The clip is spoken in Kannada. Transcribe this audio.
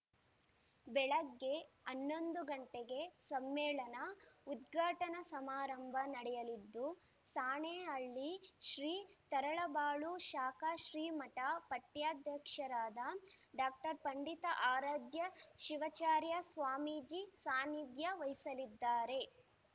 ಬೆಳಗ್ಗೆ ಹನ್ನೊಂದು ಗಂಟೆಗೆ ಸಮ್ಮೇಳನ ಉದ್ಘಾಟನಾ ಸಮಾರಂಭ ನಡೆಯಲಿದ್ದು ಸಾಣೆಹಳ್ಳಿ ಶ್ರೀ ತರಳಬಾಳು ಶಾಖಾ ಶ್ರೀಮಠ ಪಟ್ಟಾಧ್ಯಕ್ಷರಾದ ಡಾಕ್ಟರ್ ಪಂಡಿತಾರಾಧ್ಯ ಶಿವಾಚಾರ್ಯ ಸ್ವಾಮೀಜಿ ಸಾನಿಧ್ಯ ವಹಿಸಲಿದ್ದಾರೆ